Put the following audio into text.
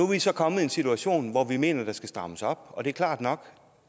vi så kommet en situation hvor vi mener der skal strammes op og det er klart nok